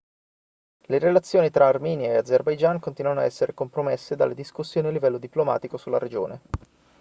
le relazioni tra armenia e azerbaijan continuano ad essere compromesse dalle discussioni a livello diplomatico sulla regione